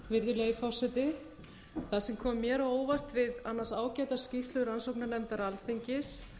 virðulegi forseti það sem kom mér á óvart við annars ágæta skýrslu rannsóknarnefndar alþingis